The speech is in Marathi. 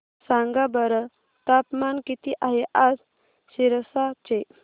सांगा बरं तापमान किती आहे आज सिरसा चे